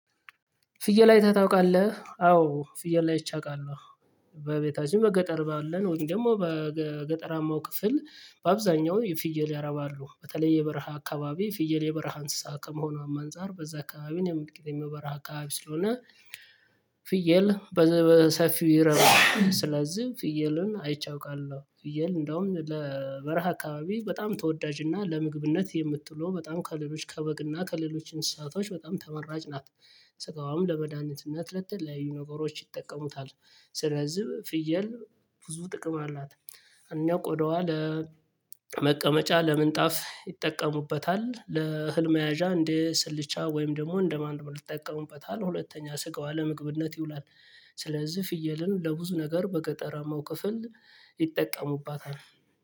ፍየል አይተህ ታውቃለህ አዎ ፍየል ላይ አይቼ አውቃለሁ። በቤታችን በገጠር ባለን ወይም ደግሞ በገጠራማው ክፍል በአብዛኛው ፍየል ያረባሉ በተለይ የበረሃ አካባቢ የፍየል የበረሃ እንስሳ ከመሆኗም አንፃር በዛ አካባቢን የመመልከት የመበራ አካባቢ ስለሆነ። ፍየል በዚህ ሰፊ ይረዳል ስለዚህ ፍየልን አይቼ አውቃለሁ። ፍየል እንደውም ለበረሃ አካባቢ በጣም ተወዳጅ እና ለምግብነት የምትለው በጣም ከሌሎች ከበግና ከሌሎች እንስሳቶች በጣም ተመራጭ ናት። ስጋዋም ለመድኃኒትነት ለትል ለይህ ነገሮች ይጠቀሙታል። ስለዚህ ፍየል ብዙ ጥቅም አላት። እኛ ቆዳዋ ለመቀመጫ ለምንጣፍ ይጠቀሙበታል ለህልም መያዣ እንዴ ስልቻ ወይም ደግሞ እንደማንቁርት ይጠቀሙበታል። ሁለተኛ ስጋዋ ለምግብነት ይውላል። ስለዚህ ፍየልን ለብዙ ነገር በገጠራማው ክፍል ይጠቀሙባታል።